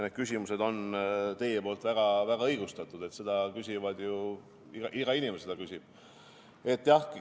Need küsimused on teie poolt väga õigustatud, neid küsivad ju kõik, iga inimene küsib.